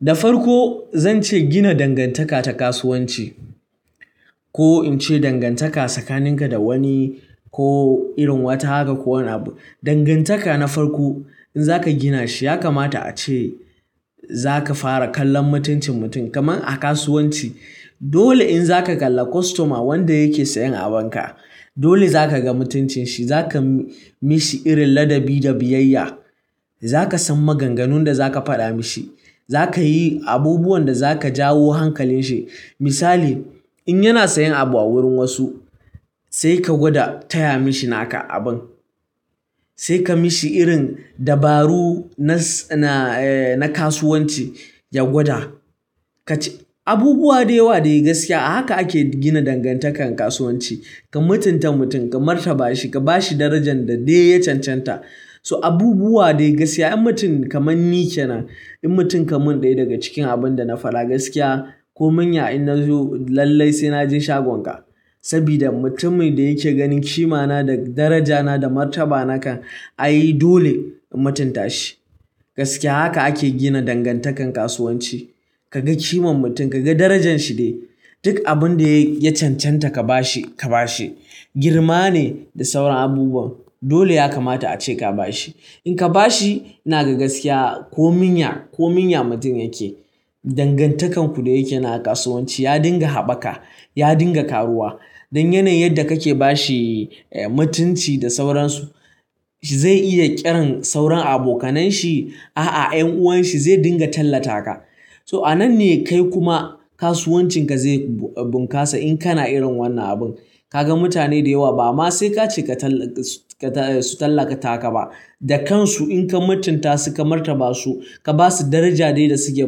Da farko zan ce gina dangantaka ta kasuwanci, ko in ce dangantaka tsakaninka da wani ko irin wata haka ko wani abu. Dangantaka na farko in za ka gina shi ya kamata a ce za ka fara kallon mutuncin mutum kamar a kasuwanci. Dole in za ka kalla kostoma wanda yake sayan abunka, dole za ka ga mutuncin shi, za ka mi shi irin ladabi da biyayya. Za ka san maganganun da za ka faɗa mi shi, za ka yi abubuwan da za ka jawo hankalin shi. Misali, in yana sayan abu a wurin wasu sai ka gwada taya mashi naka abun, sai ka mishi irin dabaru na kasuwanci ya gwada. Abubuwa da yawa dai gaskiya a haka ake gina dangantakan kasuwanci, ka mutunta mutum, ka martaba shi, ka ba shi darajan da dai ya cancanta. So abubuwa dai gaskiya in mutum kamar ni ke nan, in mutum kamun ɗaya daga cikin abin da na faɗa gaskiya ko mun ya in na zo lallai sai na je shagonka. Sabida mutumin da yake ganin kima na da daraja na da martaba na kan ai dole in mutunta shi. Gaskiya haka ake gina dangantakan kasuwanci. Ka ga kiman mutum, ka ga darajan shi dai, duk abun da ya cancanta ka ba shi, girma ne da sauran abubuwan. Dole ya kamata a ce ka ba shi. In ka ba shi, ina ga gaskiya ko mun ya, ko mun ya mutum yake, dangantakan ku da yake na kasuwanci ya dinga haɓaka, ya dinga ƙaruwa. Dan yanayin yanda ka ke ba shi mutunci da sauransu, zai iya ƙiran sauran abokanan shi, aa 'yan'uwan shi zai dinga tallata ka. So a nan ne kai kuma kasuwancin ka zai bunƙasa in kana irin wannan abun. Ka ga mutane da yawa ba ma sai ka ce su tallata ka ba, da kansu in ka mutunta su, ka martaba su, ka ba su daraja dai da suke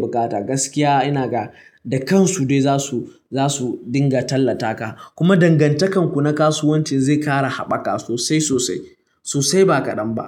bukata, gaskiya ina ga da kansu dai za su dinga tallata ka. Kuma dangantakan ku na kasuwancin zai ƙara haɓaka sosai sosai, sosai ba kaɗan ba.